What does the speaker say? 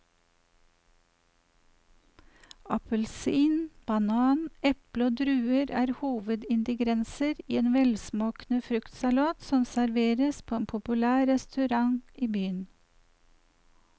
Appelsin, banan, eple og druer er hovedingredienser i en velsmakende fruktsalat som serveres på en populær restaurant i byen.